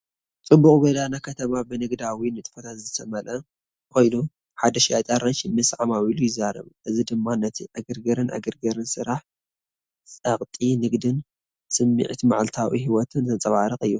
ጽዑቕ ጎደና ከተማ ብንግዳዊ ንጥፈታት ዝተመልአ ኮይኑ፡ ሓደ ሸያጢ ኣራንሺ ምስ ዓማዊል ይዛረብ። እዚ ድማ ነቲ ዕግርግርን ዕግርግርን ስራሕ፡ ጸቕጢ ንግዲን ስሚዒት መዓልታዊ ህይወትን ዘንጸባርቕ እዩ።